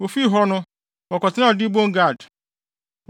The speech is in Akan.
Wofii hɔ no, wɔkɔtenaa Dibon Gad.